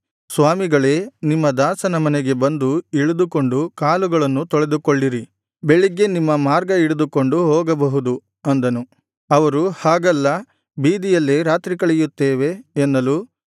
ಸ್ವಾಮಿಗಳೇ ನಿಮ್ಮ ದಾಸನ ಮನೆಗೆ ಬಂದು ಇಳಿದುಕೊಂಡು ಕಾಲುಗಳನ್ನು ತೊಳೆದುಕೊಳ್ಳಿರಿ ಬೆಳಿಗ್ಗೆ ನಿಮ್ಮ ಮಾರ್ಗ ಹಿಡಿದುಕೊಂಡು ಹೋಗಬಹುದು ಅಂದನು ಅವರು ಹಾಗಲ್ಲ ಬೀದಿಯಲ್ಲೇ ರಾತ್ರಿ ಕಳೆಯುತ್ತೇವೆ ಎನ್ನಲು